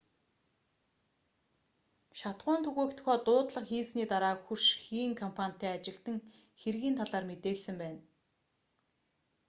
шатахуун түгээх тухай дуудлага хийсний дараа хөрш хийн компанитай ажилтан хэргийн талаар мэдээлсэн байна